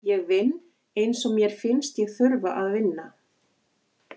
Ég vinn eins og mér finnst ég þurfa að vinna.